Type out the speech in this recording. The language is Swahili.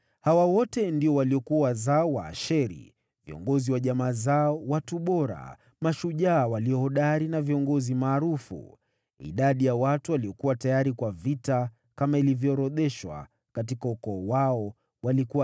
Hawa wote ndio waliokuwa wazao wa Asheri, viongozi wa jamaa zao, watu bora, mashujaa walio hodari na viongozi maarufu. Idadi ya watu waliokuwa tayari kwa vita, kama ilivyoorodheshwa katika ukoo wao, walikuwa 26,000.